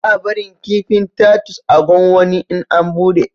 Ba a barin kifin tatus a gwanwani in an buɗe